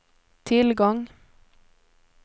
tillgång